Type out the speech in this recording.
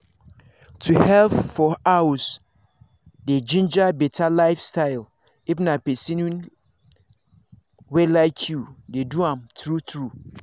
to help for house dey ginger better lifestyle if na person wey like you dey do am true true